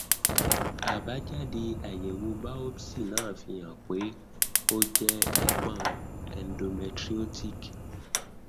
abájáde àyẹwò biopsi náà fi hàn pé ó jẹ ìpọn endometriotic